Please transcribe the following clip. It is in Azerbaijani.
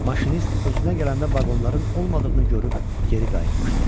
Maşinist özünə gələndə vaqonların olmadığını görüb geri qayıtmışdı.